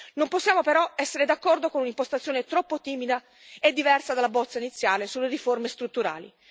Non possiamo però essere d'accordo con un'impostazione troppo timida e diversa dalla bozza iniziale sulle riforme strutturali.